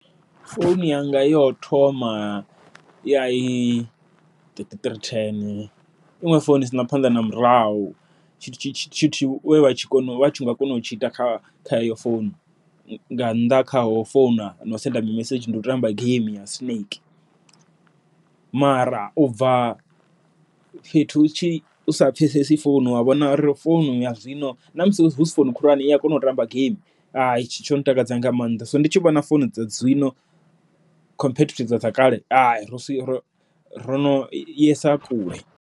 Founu yanga yo thoma ya i thirty three ten, iṅwe founu isana phanḓa na murahu tshi tshi nga kona u tshinga ita kha kha heyo founu nga nnḓa kha ho founa, na u sedza mimesedzhi ndi u tamba game ya snake. Mara ubva fhethu utshi usa pfhesesi founu wa vhona uri founu ya zwino, ṋamusi husi founu khulwane i a kona u tamba game hetsho tsho ntakadza nga maanḓa, so ndi tshi vhona founu dza zwino compare to dza kale rono yesa kule.